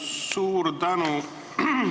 Suur tänu!